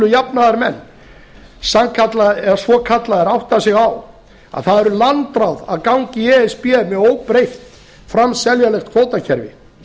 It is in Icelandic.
jafnaðarmenn svokallaðir átta sig á að það væru landráð að ganga í e s b með óbreytt framseljanlegt kvótakerfi